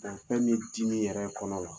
fɛn min ye dimi yɛrɛ kɔnɔ la